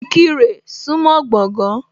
Ìkirè súńmọ́ Gbọ̀gán.